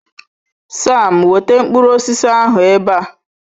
Sam, weta mkpụrụ osisi ndị ahụ ebe a.